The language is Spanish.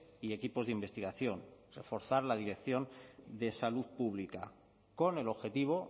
y equipos de investigación reforzar la dirección de salud pública con el objetivo